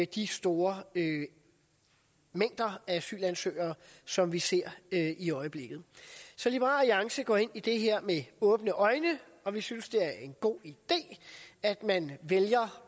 de store mængder af asylansøgere som vi ser i øjeblikket så liberal alliance går ind i det her med åbne øjne og vi synes det er en god idé at man vælger